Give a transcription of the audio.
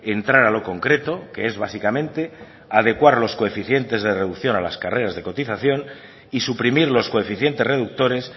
entrar a lo concreto que es básicamente adecuar los coeficientes de reducción a las carreras de cotización y suprimir los coeficientes reductores